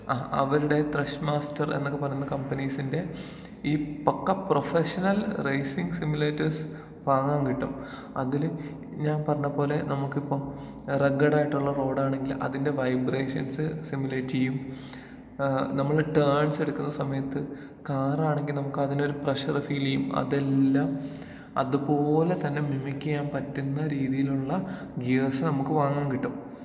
ആഹ് അവരുടേ Thrustmaster എന്നൊക്കെ പറയുന്ന കമ്പനീസിന്റെ ഈ പക്കാ പ്രൊഫഷണൽ റൈസിങ് സിമുലേറ്റേഴ് സ് വാങ്ങാൻ കിട്ടും. അതില് ഞാൻ പറഞ്ഞ പോലേ നമുക്കിപ്പം റഗ്ഗ്ഡ് ആയിട്ടുള്ള റോടാണെങ്കിൽ അതിന്റെ വൈബ്രേഷൻസ് സിമുലേറ്റ്യ്യും. ഏഹ് നമ്മള് ടേൺസ് എടുക്കുന്ന സമയത്ത് കാർ ആണെങ്കി നമുക്കതിനൊരു പ്രഷർ ഫീലിയ്യും അതെല്ലാം അത് പോലെ തന്നേ മിമിക് ചെയ്യാന്‍ പറ്റുന്ന രീതിയിലുള്ള ഗിയർസ് നമുക്ക് വാങ്ങാൻ കിട്ടും.